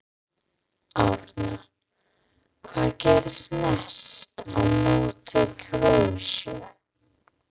Arnar: Hvað gerist næst, á móti Króatíu?